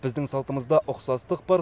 біздің салтымызда ұқсастық бар